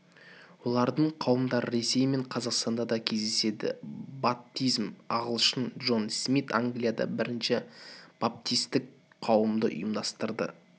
олардың қауымдары ресей мен қазақстанда да кездеседі баптизм ағылшын джон смит англияда бірінші баптистік қауымды ұйымдастырды